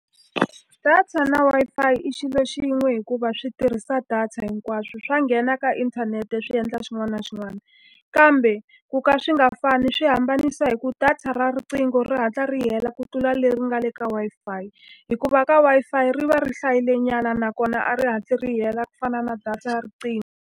Data na Wi-Fi i xilo xin'we hikuva swi tirhisa data hinkwaswo, swa nghena ka inthanete swi endla xin'wana na xin'wana. Kambe ku ka swi nga fani swi hambanisa hi ku va data ra riqingho ri hatla ri hela ku tlula leri nga le ka wi-Fi hikuva ka Wi-Fi ri va ri hlayilenyana. Nakona a ri hatli ri hela ku fana na data ra riqingho